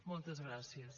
moltes gràcies